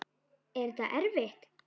Er þetta erfitt?